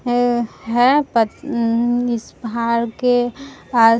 है पत इस पहाड़ के आस --